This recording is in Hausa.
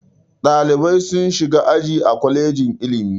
Ɗalibai sun shiga aji a kwalejin ilimi.